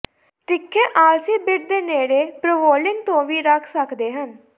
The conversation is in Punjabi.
ਤਿੱਖੇ ਆਲਸੀ ਬਿੱਟ ਦੇ ਨੇੜੇ ਪ੍ਰਵੋਲਿੰਗ ਤੋਂ ਵੀ ਰੱਖ ਸਕਦੇ ਹਨ